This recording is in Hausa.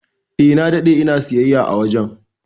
Eh, na dade ina siyayya a wajen.